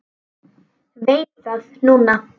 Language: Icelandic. Ég hjálpa fólki mikið núna.